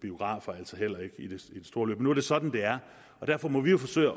biografer altså heller ikke i det store billede nu er det sådan det er og derfor må vi jo forsøge